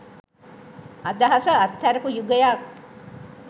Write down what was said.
අදහස අත්හැරපු යුගයක්.